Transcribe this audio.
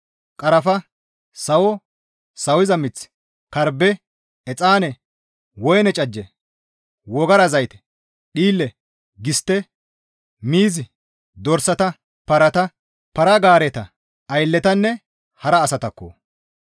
qarafa, sawo, sawiza mith, karbbe, exaane, woyne cajje, wogara zayte, dhiille, gistte, miiz, dorsata, parata, para-gaareta, aylletanne hara asataakko.